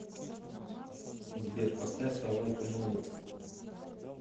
сбер поставь ай лайк ту мув ит